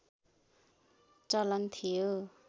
चलन थियो